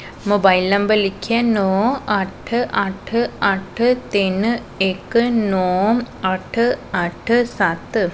Mobile number ਲਿਖਿਆ ਨੌ ਅੱਠ ਅੱਠ ਅੱਠ ਤਿਨ ਇੱਕ ਨੌ ਅੱਠ ਅੱਠ ਸੱਤ।